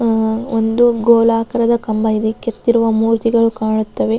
ಆಹ್ಹ್ ಒಂದು ಗೋಲಾಕಾರದ ಕಂಬ ಇದೆ ಕೆತ್ತಿರುವ ಮೂರ್ತಿಗಳು ಕಾಣುತ್ತವೆ.